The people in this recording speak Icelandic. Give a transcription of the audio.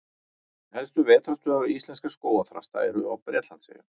Helstu vetrarstöðvar íslenskra skógarþrasta eru á Bretlandseyjum.